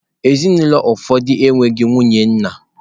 Ezinụlọ ụfọdụ enweghị nwunye nna.